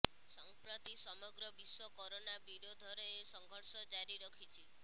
ସଂପ୍ରତି ସମଗ୍ର ବିଶ୍ବ କରୋନା ବିରୋଧରେ ସଂଘର୍ଷ ଜାରି ରଖିଛି